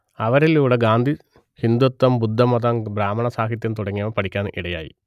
അവരിലുടെ ഗാന്ധി ഹിന്ദുത്വം ബുദ്ധമതം ബ്രാഹ്മണ സാഹിത്യം തുടങ്ങിയവ പഠിക്കാൻ ഇടയായി